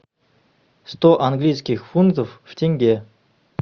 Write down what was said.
сто английских фунтов в тенге